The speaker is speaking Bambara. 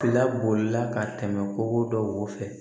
Fila bolila ka tɛmɛ kɔgɔ dɔw fɛ